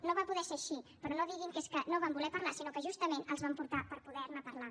no va poder ser així però no diguin que és que no vam voler parlar sinó que justament els vam portar per poder ne parlar